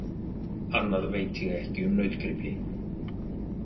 Annað veit ég ekki um nautgripi.